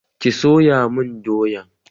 Ki soya mun doyan!